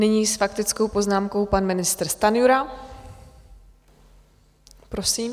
Nyní s faktickou poznámkou pan ministr Stanjura, prosím.